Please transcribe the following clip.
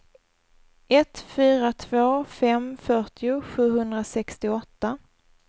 ett fyra två fem fyrtio sjuhundrasextioåtta